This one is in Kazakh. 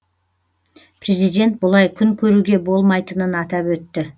президент бұлай күн көруге болмайтынын атап өтті